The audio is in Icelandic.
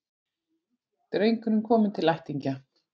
Drengurinn kominn til ættingja